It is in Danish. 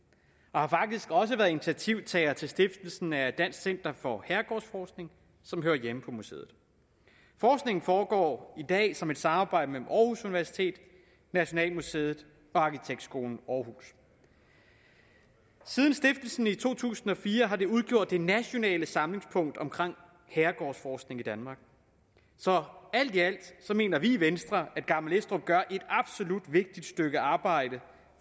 og har faktisk også været initiativtager til stiftelsen af dansk center for herregårdsforskning som hører hjemme på museet forskningen foregår i dag som et samarbejde mellem aarhus universitet nationalmuseet og arkitektskolen aarhus siden stiftelsen i to tusind og fire har det udgjort det nationale samlingspunkt for herregårdsforskning i danmark så alt i alt mener vi i venstre at gammel estrup gør et absolut vigtigt stykke arbejde